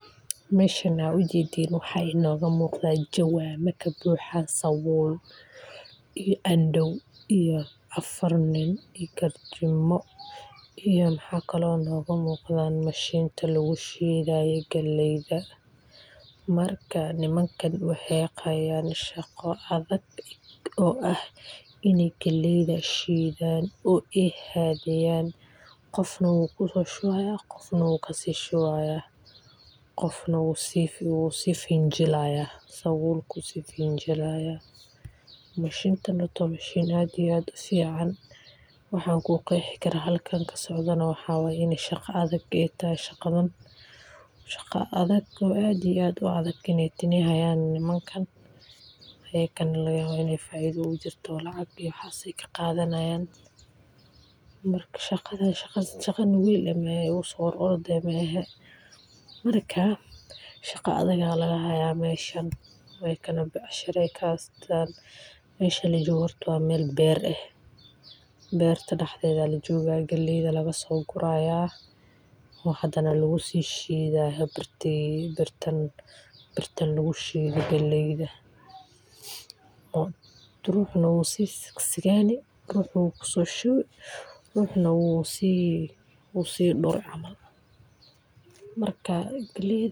Meshan aad u jedan waxa inaga muqda jawano ka buxan sabul iyo andow iyo afar nin iyo garjimo iyo waxa kale inaga muqdan mashinta lagu shidaye galleyda, marka nimankan waxey hayan shaqo adag oo ah iney galleyda shidan ee hadiyan qofna wuu shubaya qofna wuu kasi shubaya ,qofna wuu si finjilaya sabulku si finjilaya .Mashintaneyo waa mashin aadiyo aadu fican waxan halkan ku qexii karaa shaqa adag iney halkan kasocoto ,shaqo adag oo aad iyo aad u adag iney hayan nimankan ayakana laga yawa faido iyo waxas iney ogu jirto oo lacag iyo waxas ay ka qadanayan marka shaqada shaqo nugul maaha oo igu so ororod mahan ,marka shaqa adag aa laga haya meshan ,sidokale becshara ay oo meshan waa mel ber eh, berta dhaxdeda lajoga galeyda laga so guraya oo hadana lagu si shidaya birtan lagu shida galleyda oo ruxna wuu sigsigeyni, ruxna wuu kusishuwi ruxna wuu si kasiduri camal mark galleyda.